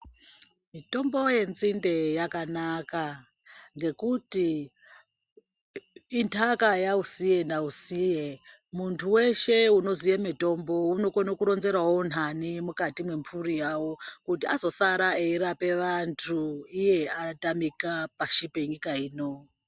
Mitombo yenzinde yakanaka ngekuti intaka yausiye nausiye. Muntu weshe unoziye mitombo unokone kuronzerawo nhani mukati mwemburi yavo, kuti azosara eirapa vantu iye atamika pashi penyika ino.